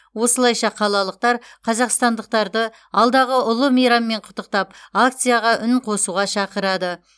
осылайша қалалықтар қазақстандықтарды алдағы ұлы мейраммен құттықтап акцияға үн қосуға шақырады